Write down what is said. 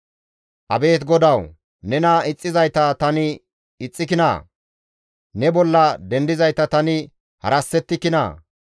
Abeet GODAWU! Nena ixxizayta tani ixxikinaa? Ne bolla dendizayta tani harassettikinaa?